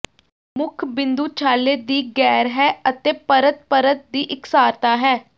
ਮੁੱਖ ਬਿੰਦੂ ਛਾਲੇ ਦੀ ਗੈਰ ਹੈ ਅਤੇ ਪਰਤ ਪਰਤ ਦੀ ਇਕਸਾਰਤਾ ਹੈ